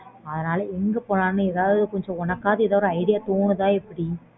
அதனால எங்க போலாம்ன்னு கொஞ்சம் உனனக்காவது idea தோணுதா எப்பிடி